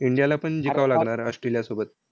इंडियाला पण जिकावं लागणार ऑस्ट्रेलियासोबत.